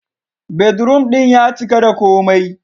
Bedroom ɗin ya cika da komai.